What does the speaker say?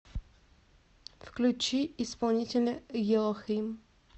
включи исполнителя елохим